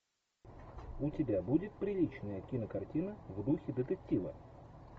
у тебя будет приличная кинокартина в духе детектива